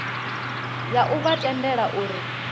ya u vha tendela uri